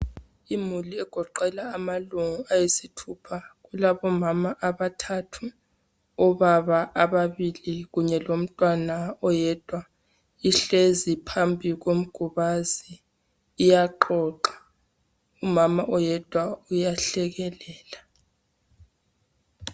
Imuli egoqela amalunga ayisithupha, kulabomama abathathu, obaba ababili kunye lomntwana oyedwa, ihlezi phambi komgubazi iyaxoxa umama oyedwa uyahlekelela